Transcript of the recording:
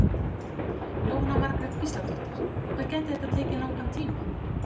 Jóhanna Margrét Gísladóttir: Hvað gæti það tekið langan tíma?